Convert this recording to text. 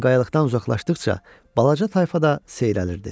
Lakin qayalıqdan uzaqlaşdıqca balaca tayfa da seyrəlirdi.